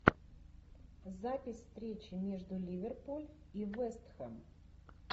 запись встречи между ливерпуль и вест хэм